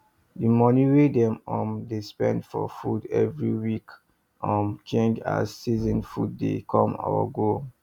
the money wey dem um dey spend for food every week dey um change as season food dey come or go